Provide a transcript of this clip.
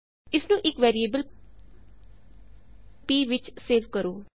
ਇਸਨੂੰ ਇਕ variable p ਵਿੱਚ ਸੇਵ ਕਰੋ